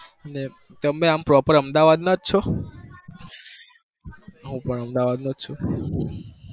તમે બે આમ proper અમદાવાદ ના છો? હું પણ અમદાવાદ નો છુ.